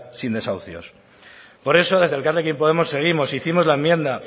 sin desahucios por eso desde elkarrekin podemos seguimos hicimos la enmienda